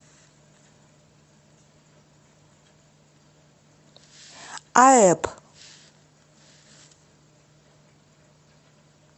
аэб